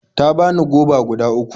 Ta bani goba guda uku.